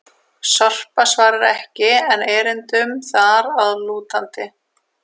Sorpa svarar ekki enn erindum þar að lútandi!